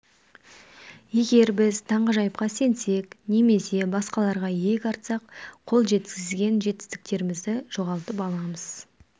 егер біз таңғажайыпқа сенсек немесе басқаларға иек артсақ қол жеткізген жетістіктерімізді жоғалтып аламыз